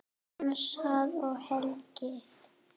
Dansað og hlegið.